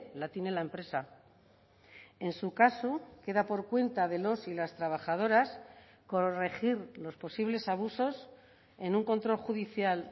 la tiene la empresa en su caso queda por cuenta de los y las trabajadoras corregir los posibles abusos en un control judicial